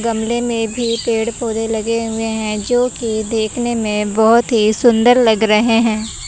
गमले में भी पेड़ पौधे लगे हुए हैं जो कि देखने में बहुत ही सुंदर लग रहे हैं।